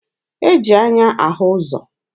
E ji anya ahụ ụzọ.